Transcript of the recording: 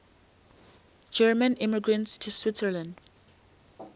german immigrants to switzerland